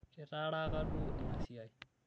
kitaaraka duo ina siai